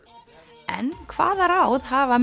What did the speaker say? en hvaða ráð hafa